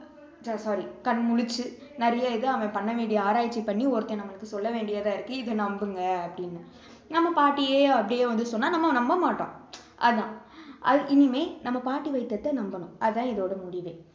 sorry கண் முழிச்சு நிறைய இது அவன் பண்ண வேண்டிய ஆராய்ச்சி பண்ணி ஒருத்தன் நமக்கு சொல்ல வேண்டியதா இருக்கு இதை நம்புங்க அப்படின்னு நம்ம பாட்டியே அப்படியே வந்து சொன்னா நம்ம நம்பமாட்டோம் அதான் இனிமே நம்ம பாட்டி வைத்தியத்தை நம்பணும் அதான் இதோட முடிவே